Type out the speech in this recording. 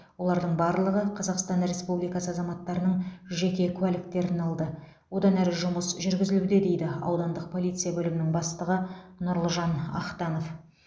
олардың барлығы қазақстан республикасы азаматтарының жеке куәліктерін алды одан әрі жұмыс жүргізілуде дейді аудандық полиция бөлімінің бастығы нұрлыжан ақтанов